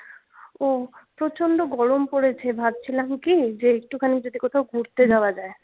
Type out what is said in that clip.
ওহ প্রচন্ড গরম পড়েছে ভাবছিলাম কি যে একটুখানি যদি কোথাও ঘুরতে যাওয়া যাই